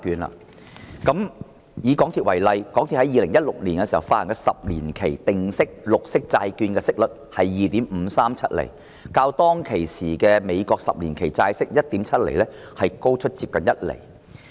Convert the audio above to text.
以港鐵公司為例，港鐵公司在2016年發行十年期定息綠色債券，息率是 2.537 厘，較當時美國十年期債券 1.7 厘的債息高出接近一厘。